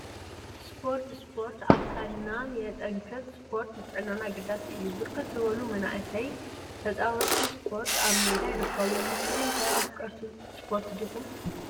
ስፖርት ስፖርት አካልና የጠንክር፤ ስፖርት ንጥዕናና አገዳሲ እዩ፡፡ ብርክት ዝበሉ መናእሰይ ተፃወቲ እስፖርት አብ ሜዳ ይርከቡ፡፡ ንስኩም ኸ አፍቀርቲ እስፖርት ዲኩም?